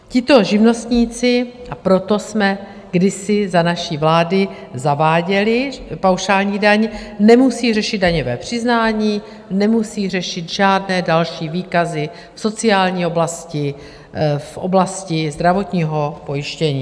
Tito živnostníci - a proto jsme kdysi za naší vlády zaváděli paušální daň - nemusí řešit daňové přiznání, nemusí řešit žádné další výkazy v sociální oblasti, v oblasti zdravotního pojištění.